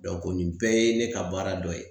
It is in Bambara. nin bɛɛ ye ne ka baara dɔ ye.